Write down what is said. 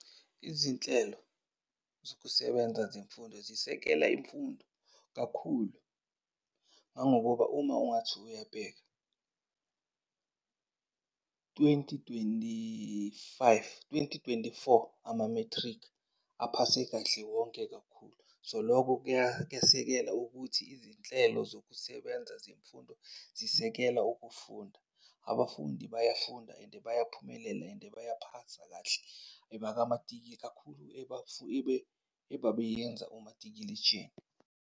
Izinhlelo zokusebenza zemfundo zisekela imfundo kakhulu ngangokuba uma ungathi uyabheka twenty twenty-five, twenty twenty-four, ama-matric aphase kahle wonke kakhulu. So, loko kuyasekela ukuthi izinhlelo zokusebenza zemfundo zisekela ukufunda. Abafundi bayafunda and bayaphumelela and bayaphasa kahle ebabeyenza umatikiletsheni.